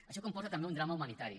això comporta també un drama humanitari